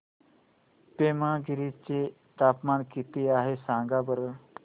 पेमगिरी चे तापमान किती आहे सांगा बरं